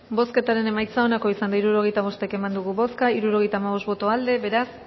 bozketaren emaitza onako izan da hirurogeita hamabost eman dugu bozka hirurogeita hamabost boto aldekoa beraz